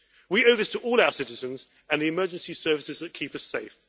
We owe this to all our citizens and the emergency services that keep us safe.